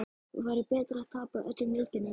Væri betra að tapa öllum leikjunum?